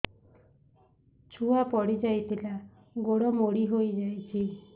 ଛୁଆ ପଡିଯାଇଥିଲା ଗୋଡ ମୋଡ଼ି ହୋଇଯାଇଛି